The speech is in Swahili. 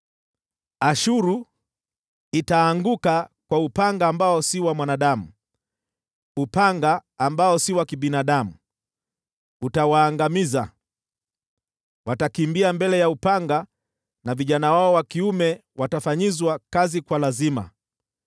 “Ashuru itaanguka kwa upanga ambao si wa mwanadamu; upanga usio wa kibinadamu utawaangamiza. Watakimbia mbele ya upanga na vijana wao wa kiume watafanyizwa kazi kwa lazima.